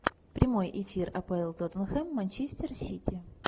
прямой эфир апл тоттенхэм манчестер сити